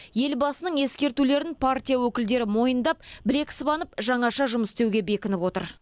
елбасының ескертулерін партия өкілдері мойындап білек сыбанып жаңаша жұмыс істеуге бекініп отыр